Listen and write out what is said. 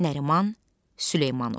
Nəriman Süleymanov.